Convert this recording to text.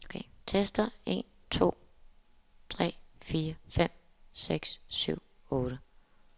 Tester en to tre fire fem seks syv otte.